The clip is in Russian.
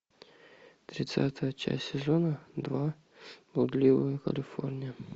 тридцатая часть сезона два блудливая калифорния